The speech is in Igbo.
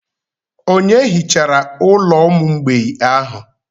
Onye hichara ụlọ ụmụ mgbei ahụ?